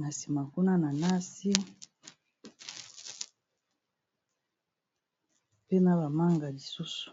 na sima kuna nanasi mpe na ba manga lisusu.